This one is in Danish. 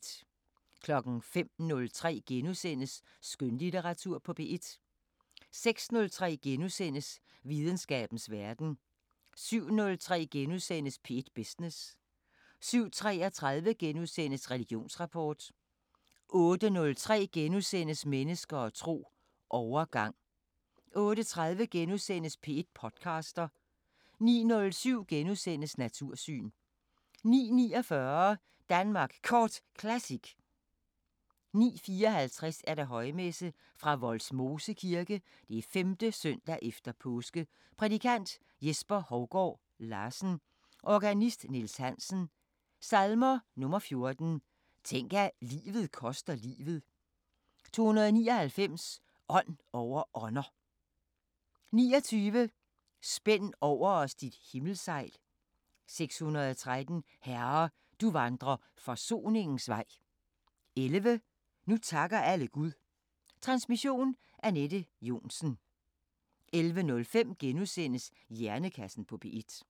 05:03: Skønlitteratur på P1 * 06:03: Videnskabens Verden * 07:03: P1 Business * 07:33: Religionsrapport * 08:03: Mennesker og tro: Overgang * 08:30: P1 podcaster * 09:07: Natursyn * 09:49: Danmark Kort Classic 09:54: Højmesse - Fra Vollsmose Kirke, 5. søndag efter påske. Prædikant: Jesper Hougaard Larsen. Organist: Niels Hansen. Salmer: 14: Tænk at livet koster livet. 299 Ånd over ånder. 29: Spænd over os dit himmelsejl. 613: Herre, du vandrer forsoningens vej. 11: Nu takker alle Gud. Transmission: Anette Johnsen. 11:05: Hjernekassen på P1 *